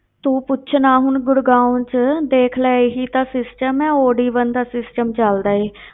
ਤੂੰ ਪੁੱਛ ਨਾ ਹੁਣ ਗੁੜਗਾਓਂ ਵਿੱਚ ਦੇਖ ਲੈ ਇਹੀ ਤਾਂ system ਹੈ odd even ਦਾ system ਚੱਲਦਾ ਹੈ,